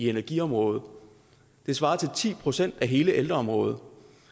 energiområdet det svarer til ti procent af hele ældreområdet